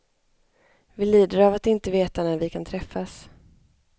Vi lider av att inte veta när vi kan träffas.